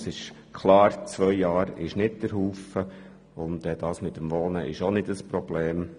Es ist klar, dass zwei Jahre keine lange Zeit sind, und das mit dem Wohnen ist auch kein Problem.